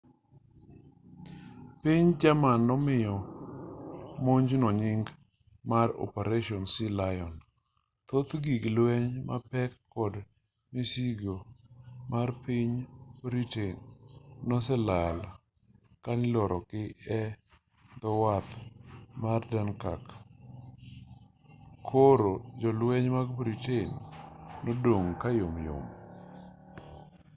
piny jerman nomiyo monjno nying mar operation sealion thoth gik lueny mapek kod misigo mar piny britain noselal kaniloro gii edhowath mar dunkirk koro jolweny mar britain nodong' kayom yom